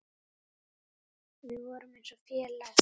Við vorum eins og félag.